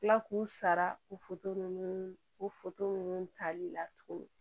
Kila k'u sara o ninnu o ninnu tali la tuguni